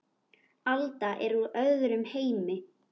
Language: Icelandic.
Alda er úr öðrum heimi.